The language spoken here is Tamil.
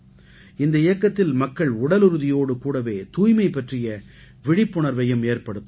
இந்த இயக்கத்தில் மக்கள் உடலுறுதியோடு கூடவே தூய்மை பற்றிய விழிப்புணர்வையும் ஏற்படுத்துவார்கள்